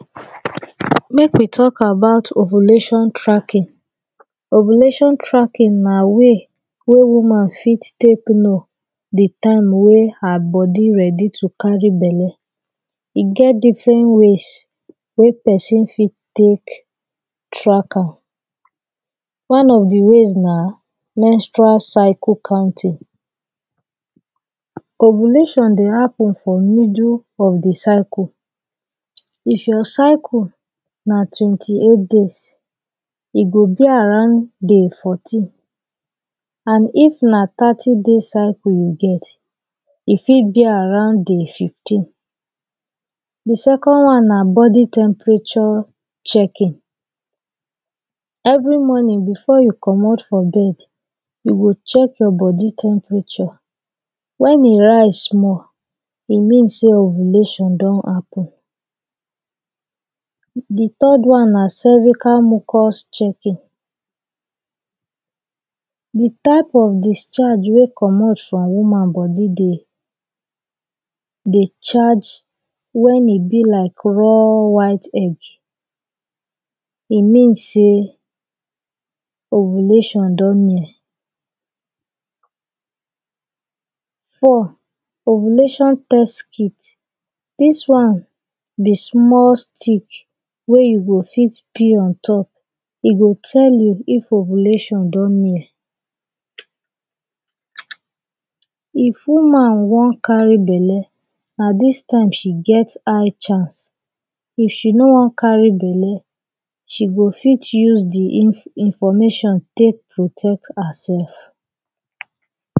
Make we talk about ovulation tracking. Ovulation tracking na way wey woman fit take know de time wey her body ready to carry bele. E get difren ways wey pesin fit take track am. One of the ways na menstrual cycle counting: Ovulation dey happen for midul of de circle. If your cycle na twenty-eight days, e go be around day fourteen and if na thirty days cycle you get, e fit be around day fifteen. De second one na body temperature checking: Every morning before you comot for bed you go check your body temperature, when e rise small e mean sey ovulation don happen. De third one na cervical mucus checking: De type of discharge wey comot for woman body dey, dey charge when e be like raw white egg, e mean say ovulation don near. Four, ovulation test kit. Dis one be small stick wey you go fit pee ontop, e go tell you if ovulation don near. If woman wan carry bele, na dis time she get high chance. If she no wan carry bele, she go fit use de information take protect herself.